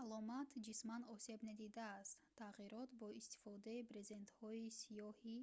аломат ҷисман осеб надидааст тағйирот бо истифодаи брезентҳои сиёҳи